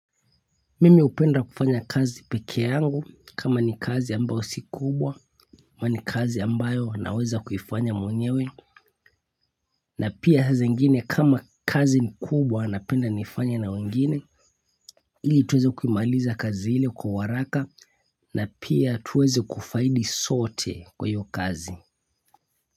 Mimi hupenda kufanya kazi pekee yangu kama ni kazi ambayo si kubwa ama ni kazi ambayo naweza kuifanya mwenyewe na pia saa zingine kama kazi ni kubwa napenda niifanye na wengine ili tuweze kuimaliza kazi ile kwa haraka na pia tuweze kufaidi sote kwa hio kazi.